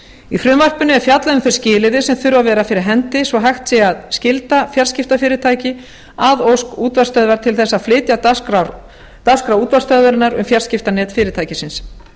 í frumvarpinu er fjallað um þau skilyrði sem þurfa að vera fyrir hendi svo hægt sé að skylda fjarskiptafyrirtæki að ósk útvarpsstöðvar til þess að flytja dagskrá útvarpsstöðvarinnar um fjarskiptanet fyrirtækisins